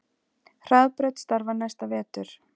Hraðbraut starfar næsta vetur